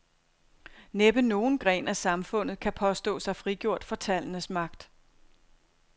Næppe nogen gren af samfundet kan påstå sig frigjort for tallenes magt.